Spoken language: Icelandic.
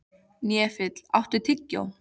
Hnefill, áttu tyggjó?